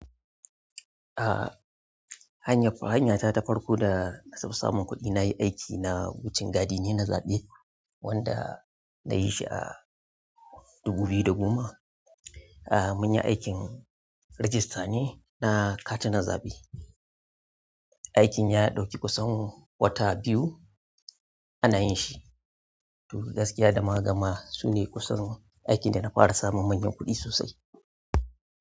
Ah, hanya, hanya ta ta farko da na samu samun kuɗi na yi aiki na wucin gadi ne na zaɓe wanda na yi shi a dubu biyu da goma. Ah, munyi aikin rejista ne na katunan zaɓe. Aikin ya ɗauki kusan wata biyu ana yin shi. Toh gaskiya da mukagama su ne kusan aikin da na fara samun manyan kuɗi sosai.